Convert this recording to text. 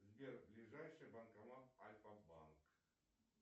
сбер ближайший банкомат альфа банк